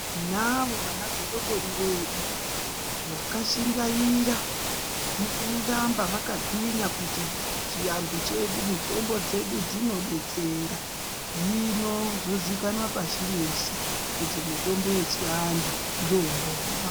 Tinavo ana godobori vedu vakashingaira mukuramba vakagwinya kuti chianthu chedu, mitombo dzedu dzinodetsera .Hino, zvozikanwa pashi reshe kuti mitombo yechianthu ndoomboma.